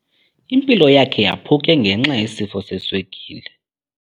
Impilo yakhe yaphuke ngenxa yesifo seswekile.